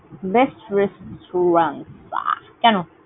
কেন?